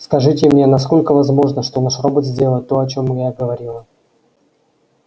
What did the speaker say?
скажите мне насколько возможно что наш робот сделает то о чём я говорила